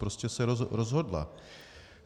Prostě se rozhodla.